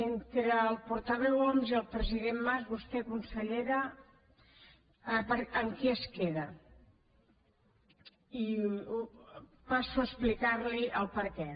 entre el portaveu homs i el president mas vostè consellera amb qui es queda i passo a explicar li el perquè